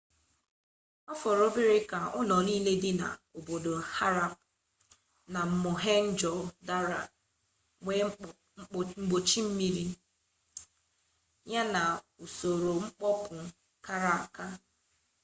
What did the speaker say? ọ fọrọ obere ka ụlọ niile dị n'obodo harappa na mohenjo-daro nwee mpochi mmiri ya na usoro mkpopu kara aka